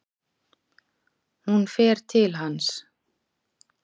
Hún fer til hans.